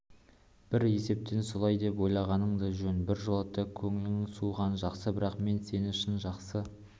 бір есептен солай деп ойлағаның да жөн біржолата көңілің суығаны жақсы бірақ мен сені шын жақсы